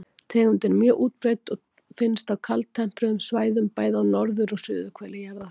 Tegundin er mjög útbreidd og finnst á kaldtempruðum svæðum, bæði á norður- og suðurhveli jarðar.